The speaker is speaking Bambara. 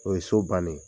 O ye so bannen ye